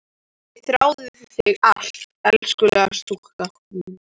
Ég þrái þig alt af elskulega stúlkan mín.